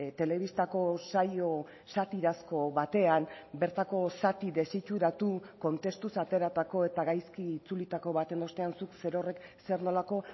telebistako saio satirazko batean bertako zati desitxuratu kontestuz ateratako eta gaizki itzulitako baten ostean zuk zerorrek zer nolako